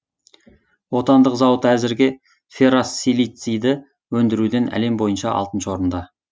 отандық зауыт әзірге ферросилиций өндіруден әлем бойынша алтыншы орында